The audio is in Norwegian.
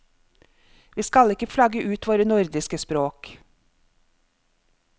Vi skal ikke flagge ut våre nordiske språk.